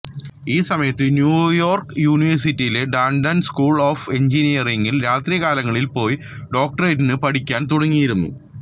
ഈ സമയത്ത് ന്യൂയോർക്ക് യൂണിവേഴ്സിറ്റിയിലെ ടാൻഡൺ സ്കൂൾ ഓഫ് എൻജിനീയറിങ്ങിൽ രാത്രികാലങ്ങളിൽ പോയി ഡോക്ടറേറ്റിനു പഠിക്കാൻ തുടങ്ങിയിരുന്നു